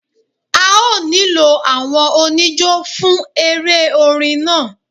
A ó nílò àwọn oníjó fún eré orin náà